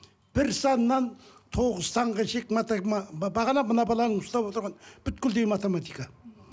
бір саннан тоғыз санға бағана мына баланың ұстап отырған математика